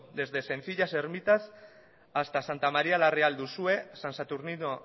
desde sencillas ermitas hasta santa maría la real de uxue san saturnino